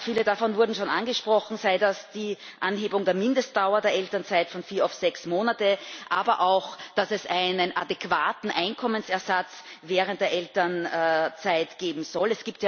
Viele davon wurden schon angesprochen, sei das die Anhebung der Mindestdauer der Elternzeit von vier auf sechs Monate, aber auch, dass es einen adäquaten Einkommensersatz während der Elternzeit geben soll.